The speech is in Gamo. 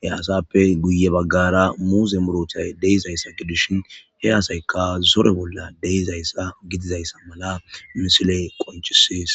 he asappe guye baggara muuze murotay deyzays sa ke dishhin he asaykka zore bolla deizayssa gidizayssa mala misiley qoncises.